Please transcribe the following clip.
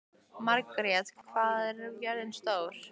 Margrjet, hvað er jörðin stór?